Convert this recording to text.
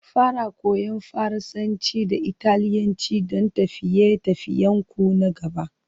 Fara Koyan Faransanci da Italiyanci don tafiye-tafiyenku na gaba